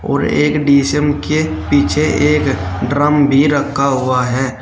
और एक डी_सी_एम के पीछे एक ड्रम भी रखा हुआ है।